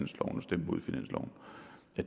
at